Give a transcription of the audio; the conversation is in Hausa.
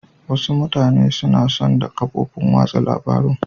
Wasu mutane suna son da kafofin watsa labarun.